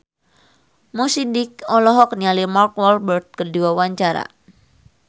Mo Sidik olohok ningali Mark Walberg keur diwawancara